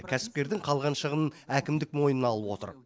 кәсіпкердің қалған шығынын әкімдік мойнына алып отыр